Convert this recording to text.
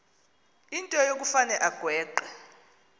into yokufane agweqe